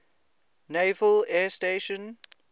naval air station